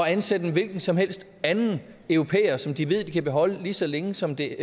at ansætte en hvilken som helst anden europæer som de ved de kan beholde lige så længe som det